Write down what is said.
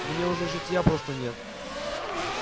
мне уже житья просто нет